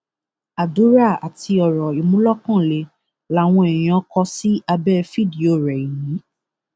àdúrà àti ọrọ ìmúlókanlẹ làwọn èèyàn kò sí abẹ fídíò rẹ yìí